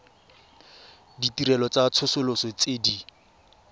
ditirelo tsa tsosoloso tse di